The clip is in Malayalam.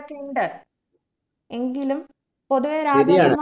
ഒക്കിണ്ട്‌ എങ്കിലും പൊതുവെ